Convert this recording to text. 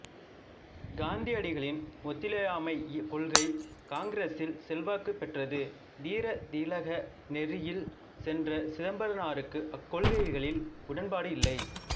காந்தியடிகளின் ஒத்துழையாமைக் கொள்கை காங்கிரசில் செல்வாக்குப் பெற்றது தீரத் திலக நெறியில் சென்ற சிதம்பரனாருக்கு அக்கொள்கைகளில் உடன்பாடு இல்லை